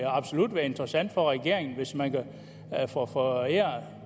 absolut være interessant for regeringen hvis man kan få foræret